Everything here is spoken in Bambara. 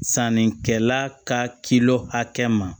Sannikɛla ka hakɛ ma